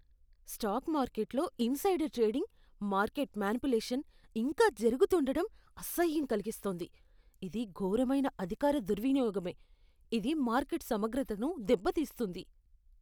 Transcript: Stock మార్కెట్లో insider trading, market manipulation ఇంకా జరుగుతుండడం అసహ్యం కలిగిస్తోంది. ఇది ఘోరమైన అధికార దుర్వినియోగమే, ఇది మార్కెట్ సమగ్రతను దెబ్బతీస్తుంది.